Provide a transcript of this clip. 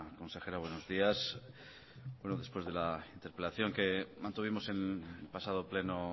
consejera buenos días bueno después de la interpelación que mantuvimos el pasado pleno